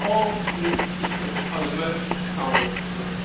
all this system on a much sounder footing.